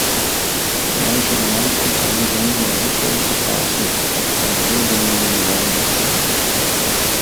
Mlajšega najstnika ne zanimajo več toliko starši, pač pa ga bolj zanimajo njegovi vrstniki.